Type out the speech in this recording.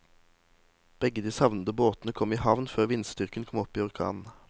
Begge de savnede båtene kom i havn før vindstyrken kom opp i orkan.